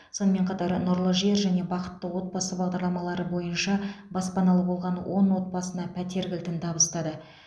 сонымен қатар нұрлы жер және бақытты отбасы бағдарламалары бойынша баспаналы болған он отбасына пәтер кілтін табыстады